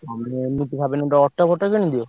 ତମେ ଏମିତି ଭାବିଲେ ଗୋଟେ auto ଫଟୋ କିଣିଦିଅ।